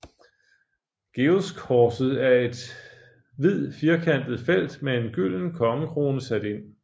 Georgskorset er et hvid firkantet felt med en gylden kongekrone sat ind